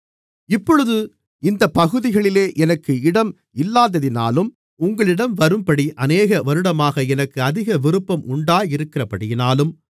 இப்பொழுது இந்தப் பகுதிகளிலே எனக்கு இடம் இல்லதாதினாலும் உங்களிடம் வரும்படி அநேக வருடமாக எனக்கு அதிக விருப்பம் உண்டாயிருக்கிறபடியினாலும்